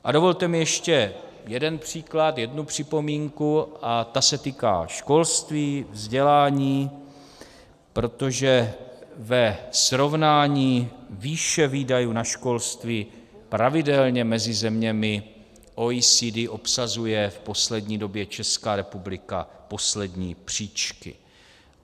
A dovolte mi ještě jeden příklad, jednu připomínku a ta se týká školství, vzdělání, protože ve srovnání výše výdajů na školství pravidelně mezi zeměmi OECD obsazuje v poslední době Česká republika poslední příčky.